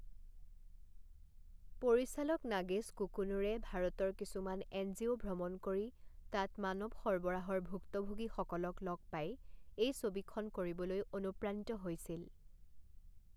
পৰিচালক নাগেশ কুকুনুৰে ভাৰতৰ কিছুমান এনজিঅ' ভ্ৰমণ কৰি তাত মানৱ সৰবৰাহৰ ভুক্তভোগীসকলক লগ পাই এই ছবিখন কৰিবলৈ অনুপ্ৰাণিত হৈছিল।